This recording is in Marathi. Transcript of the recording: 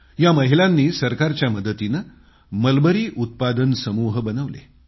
या महिलांनी सरकारच्या मदतीनं मलबरीउत्पादन समूह बनवले